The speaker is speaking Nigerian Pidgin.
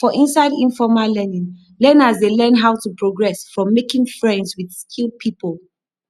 for inside informal learning learners dey learn how to progress from making friends with skilled pipo